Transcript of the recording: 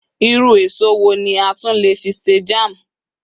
irú eso wo ni a tun le fi se jam